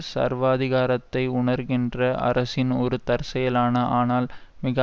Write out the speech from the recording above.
சர்வாதிகாரத்தை உணர்கின்ற அரசின் ஒரு தற்செயலான ஆனால் மிக